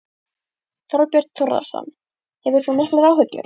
Þorbjörn Þórðarson: Hefur þú miklar áhyggjur?